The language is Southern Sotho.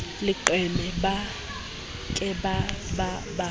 leqeme ba ke ba ba